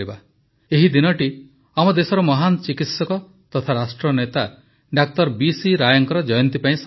ଏହିଦିନଟି ଆମ ଦେଶର ମହାନ ଚିକିତ୍ସକ ତଥା ରାଷ୍ଟ୍ରନେତା ଡକ୍ଟର ବି ସି ରାୟଙ୍କ ଜୟନ୍ତୀ ପାଇଁ ସମର୍ପିତ